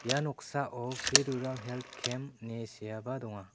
ia noksao pri rural helt kem ine seaba donga.